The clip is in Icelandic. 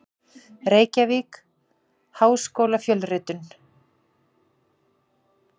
Reykjavík: Háskólafjölritun.